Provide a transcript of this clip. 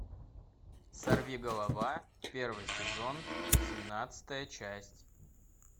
сорви голова первый сезон семнадцатая часть